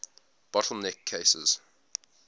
bottle neck cases